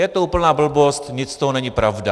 Je to úplná blbost, nic z toho není pravda.